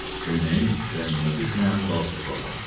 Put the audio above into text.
Köynəyin rənginə düşməyən qalstuq bağlamışdı.